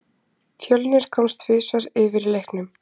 Fjölnir komst tvisvar yfir í leiknum.